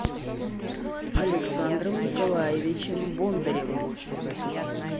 александром николаевичем бондаревым